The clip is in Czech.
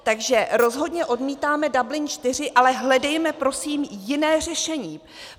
Takže rozhodně odmítáme Dublin IV, ale hledejme prosím jiné řešení.